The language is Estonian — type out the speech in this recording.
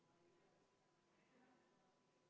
Juhtivkomisjoni seisukoht on arvestada täielikult.